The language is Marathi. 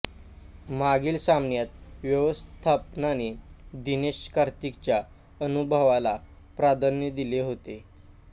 मागील सामन्यात व्यवस्थापनाने दिनेश कार्तिकच्या अनुभवाला प्राधान्य दिले होते